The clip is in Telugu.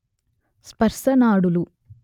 స్పర్శ నాడులు